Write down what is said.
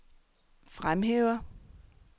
fremhæver